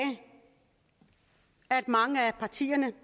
at mange af partierne